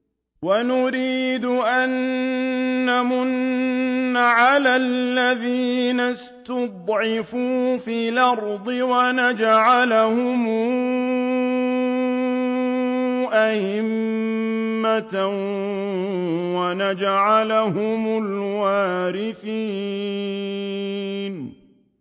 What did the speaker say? وَنُرِيدُ أَن نَّمُنَّ عَلَى الَّذِينَ اسْتُضْعِفُوا فِي الْأَرْضِ وَنَجْعَلَهُمْ أَئِمَّةً وَنَجْعَلَهُمُ الْوَارِثِينَ